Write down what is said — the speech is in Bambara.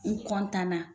N na